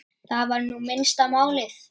Það var nú minnsta málið.